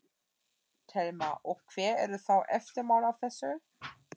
Telma: Og hver eru þá eftirmál af þessu?